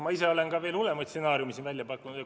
Ma ise olen veel hullemaid stsenaariume siin välja pakkunud.